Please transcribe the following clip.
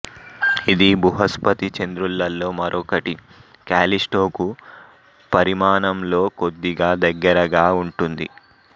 ఇది బృహస్పతి చంద్రులలో మరొకటి కాల్లిస్టోకు పరిమాణంలో కొద్దిగా దగ్గరగా ఉంటుంది